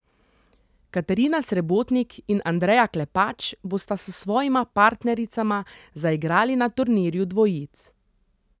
Katarina Srebotnik in Andreja Klepač bosta s svojima partnericama zaigrali na turnirju dvojic.